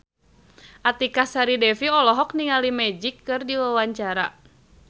Artika Sari Devi olohok ningali Magic keur diwawancara